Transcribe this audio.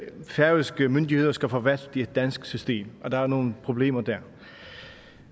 færøske myndigheder skal forvalte et dansk system og der er jo nogle problemer der